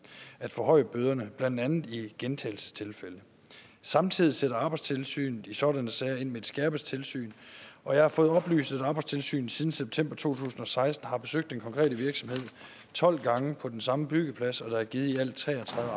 at forhøje bøderne blandt andet i gentagelsestilfælde samtidig sætter arbejdstilsynet i sådanne sager ind med et skærpet tilsyn og jeg har fået oplyst at arbejdstilsynet siden september to tusind og seksten har besøgt den konkrete virksomhed tolv gange på den samme byggeplads og der er givet i alt tre og tredive